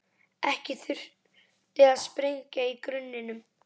Ekkert þurfti að sprengja í grunninum.